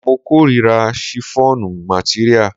Mo kórira shiffọnu materia.